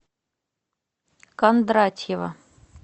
кондратьева